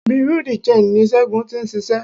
Bureau de change ní Ségun ti ń ṣiṣẹ́.